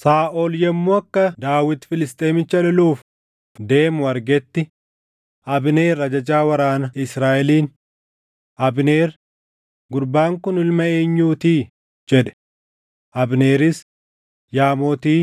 Saaʼol yommuu akka Daawit Filisxeemicha loluuf deemu argetti, Abneer ajajaa waraana Israaʼeliin, “Abneer, gurbaan kun ilma eenyuu ti?” jedhe. Abneeris, “Yaa Mootii,